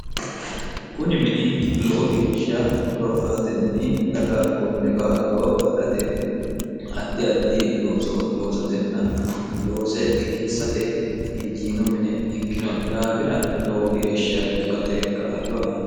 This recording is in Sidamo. kuni mini lowo geeshsha horoaatinni daga konne kaa'loo afi'rate haddi addi loosatenna loose qineessate injiino mine ikkino daafira lowo geeshsha dagate kaa'lo aani